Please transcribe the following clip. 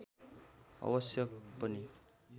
अवश्य पनि